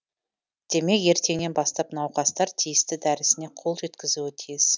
демек ертеңнен бастап науқастар тиісті дәрісіне қол жеткізуі тиіс